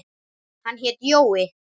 Hann hét Jói.